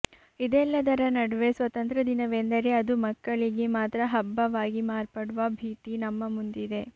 ಇದೆಲ್ಲದರ ನಡುವೆ ಸ್ವತಂತ್ರ ದಿನವೆಂದರೆ ಅದು ಮಕ್ಕಳಿಗೆ ಮಾತ್ರ ಹಬ್ಬವಾಗಿ ಮಾರ್ಪಾಡುವ ಭೀತಿ ನಮ್ಮ ಮುಂದಿದೆ